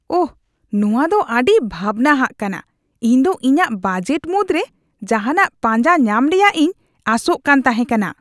ᱳᱦ, ᱱᱚᱶᱟ ᱫᱚ ᱟᱹᱰᱤ ᱵᱷᱟᱵᱱᱟᱣᱟᱜ ᱠᱟᱱᱟ ᱾ ᱤᱧ ᱫᱚ ᱤᱧᱟᱜ ᱵᱟᱡᱮᱴ ᱢᱩᱫᱽᱨᱮ ᱡᱟᱦᱟᱱᱟᱜ ᱯᱟᱸᱡᱟ ᱧᱟᱢ ᱨᱮᱭᱟᱜ ᱤᱧ ᱟᱥᱚᱜ ᱠᱟᱱ ᱛᱟᱦᱮᱸ ᱠᱟᱱᱟ ᱾